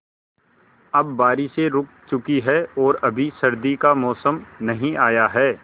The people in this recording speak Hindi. अब बारिशें रुक चुकी हैं और अभी सर्दी का मौसम नहीं आया है